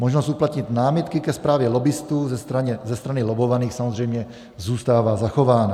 Možnost uplatnit námitky ke zprávě lobbistů ze strany lobbovaných samozřejmě zůstává zachována.